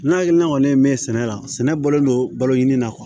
Ne hakilina kɔni min ye sɛnɛ la sɛnɛ bɔlen don balo ɲini na